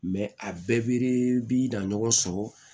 a bɛɛ be dan ɲɔgɔn sɔrɔ